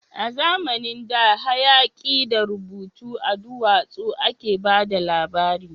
A zamanin da, hayaki da rubutu a duwatsu a ke ba da labari